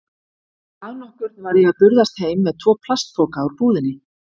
Dag nokkurn var ég að burðast heim með tvo plastpoka úr búðinni.